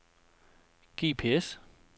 GPS